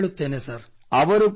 ಖಂಡಿತ ಹೇಳುತ್ತೇನೆ ಸರ್